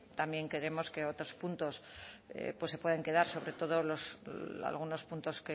también creemos que otros puntos pues se puedan quedar sobre todo algunos puntos